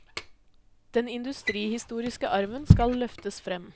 Den industrihistoriske arven skal løftes frem.